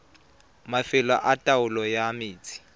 mafelo a taolo ya metsi